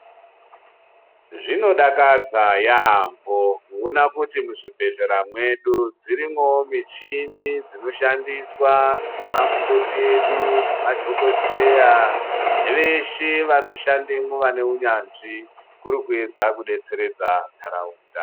Zvinodakadza yaampo kuona kuti muzvibhedhlera mwedu dzirimwowo michini dzinoshandiswa ngemakoti edu ngemadhokodheya veshe vanoshandemwo vane unyanzvi kuri kuedza kudetseredza ntaraunda.